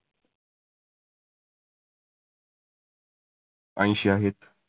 ऐंशी आहेत.